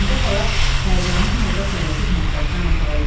Həmidə xala həyəcanlı halda tələsik mətbəxdən otağa gəlir.